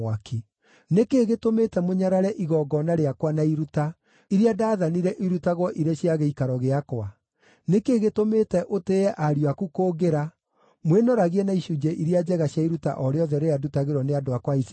Nĩ kĩĩ gĩtũmĩte mũnyarare igongona rĩakwa na iruta, iria ndaathanire irutagwo irĩ cia gĩikaro gĩakwa? Nĩ kĩĩ gĩtũmĩte ũtĩĩe ariũ aku kũngĩra, mwĩnoragie na icunjĩ iria njega cia iruta o rĩothe rĩrĩa ndutagĩrwo nĩ andũ akwa a Isiraeli?’